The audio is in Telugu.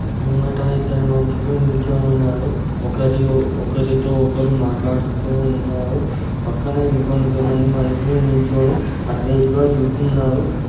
ముంగిట ఇద్దరు మనుషుల నిల్చొని ఉన్నారు. ఒకరి-- ఓ-- ఒకరి తో ఒకరు మాట్లాడుతూ ఉన్నాడు పక్కన ఇంకో కొంతమంది మనసులు నిలుచోని ఆటువైపుగా చూస్తున్నారు స్టా--